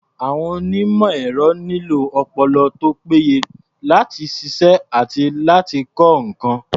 Àwọn onímọ̀-ẹ̀rọ nílò ọpọlọ tó péye láti ṣiṣẹ́ àti láti kọ́ nǹkan.